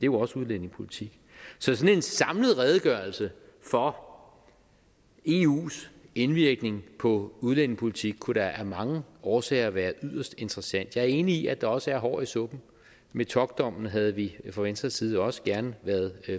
jo også udlændingepolitik så sådan en samlet redegørelse for eus indvirkning på udlændingepolitik kunne da af mange årsager være yderst interessant jeg er enig i at der også er hår i suppen metockdommen havde vi fra venstres side også gerne været